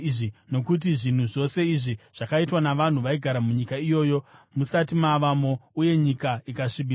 nokuti zvinhu zvose izvi zvakaitwa navanhu vaigara munyika iyoyo musati mavamo, uye nyika ikasvibiswa.